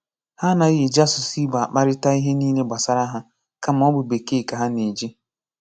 Hà anàghị eji asụ̀sụ́ Ìgbò akparịta ihe niile gbasàrà hà, kàmá ọ bụ̀ Békèe ka hà na-eji.